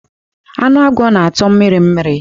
Ánụ agwọ na-atọ mmiri mmiri.